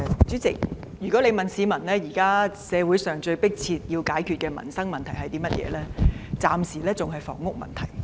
主席，若問市民現時社會上最迫切需要解決的民生問題是甚麼，暫時仍是房屋問題。